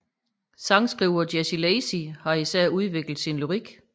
Sangskriver Jesse Lacey har især udviklet sin lyrik